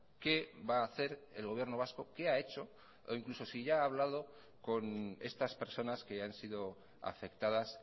qué va ha hacer el gobierno vasco qué ha hecho o incluso si ya ha hablado con estas personas que han sido afectadas